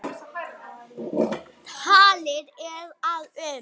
Talið er að um